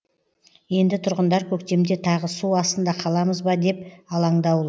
енді тұрғындар көктемде тағы су астында қаламыз ба деп алаңдаулы